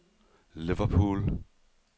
Liverpool